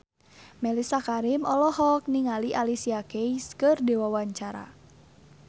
Mellisa Karim olohok ningali Alicia Keys keur diwawancara